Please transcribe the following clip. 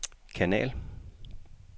kanal